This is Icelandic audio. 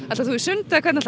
ætlar þú í sund eða hvernig